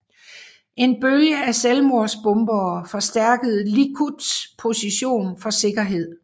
En bølge af selvmordsbombere forstærkede Likuds position for sikkerhed